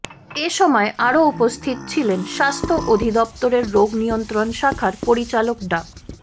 এ সময় আরও উপস্থিত ছিলেন স্বাস্থ্য অধিদপ্তরের রোগ নিয়ন্ত্রণ শাখার পরিচালক ডা